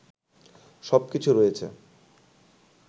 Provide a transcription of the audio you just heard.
সবকিছু রয়েছে